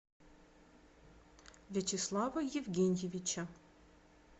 вячеслава евгеньевича